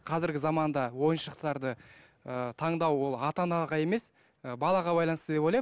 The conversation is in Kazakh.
қазіргі заманда ойыншықтарды ыыы таңдау ол ата анаға емес ы балаға байланысты деп ойлаймын